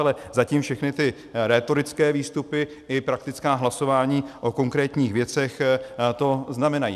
Ale zatím všechny ty rétorické výstupy i praktická hlasování o konkrétních věcech to znamenají.